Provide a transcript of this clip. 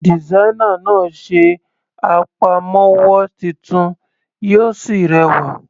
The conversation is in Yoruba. Designer náà ṣe àpamọ́wọ́ titun yìí Ó sì rẹwà.